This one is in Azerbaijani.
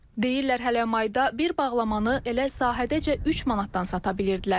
Deyirlər hələ mayda bir bağlamanı elə sahədəcə 3 manatdan sata bilirdilər.